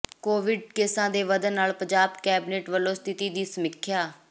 Covid ਕੇਸਾਂ ਦੇ ਵਧਣ ਨਾਲ ਪੰਜਾਬ ਕੈਬਨਿਟ ਵਲੋਂ ਸਥਿਤੀ ਦੀ ਸਮੀਖਿਆ